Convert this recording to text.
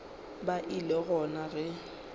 ba e le gona ge